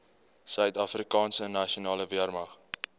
suidafrikaanse nasionale weermag